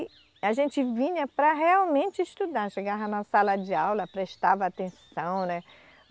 E a gente vinha para realmente estudar, chegava na sala de aula, prestava atenção, né?